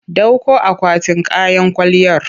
Ɗauko akwatin kayan kwalliyar!